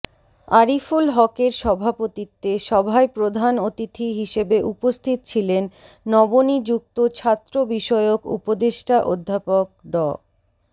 আরিফুল হকের সভাপত্বিতে সভায় প্রধান অতিথি হিসেবে উপস্থিত ছিলেন নবনিযুক্ত ছাত্রবিষয়ক উপদেষ্টা অধ্যাপক ড